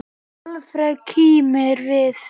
Alfreð kímir við.